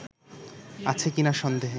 আছে কিনা সন্দেহ